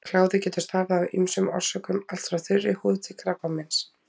Kláði getur stafað af ýmsum orsökum, allt frá þurri húð til krabbameins.